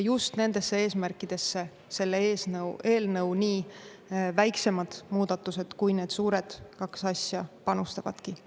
Just nendesse eesmärkidesse selle eelnõu nii väiksemad muudatused, kui need suured kaks asja panustavadki.